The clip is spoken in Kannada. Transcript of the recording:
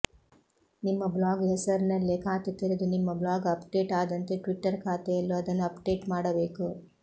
ನಿಮ್ಮ ಬ್ಲಾಗ್ ಹೆಸರಿನಲ್ಲೇ ಖಾತೆ ತೆರೆದು ನಿಮ್ಮ ಬ್ಲಾಗ್ ಅಪ್ಡೇಟ್ ಆದಂತೆ ಟ್ವಿಟರ್ ಖಾತೆಯಲ್ಲೂ ಅದನ್ನು ಅಪ್ಡೇಟ್ ಮಾಡಬೇಕು